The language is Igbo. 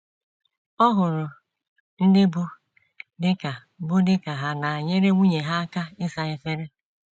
Ọ hụrụ ndị bụ́ di ka bụ́ di ka ha na - enyere nwunye ha aka ịsa efere